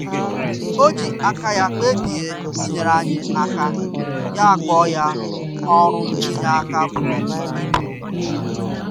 O ji aka ya kpebie inyere anyị aka ya kpọọ ya "ọrụ inye aka bụrụ ibu"